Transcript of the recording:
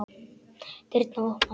Dyrnar opnast.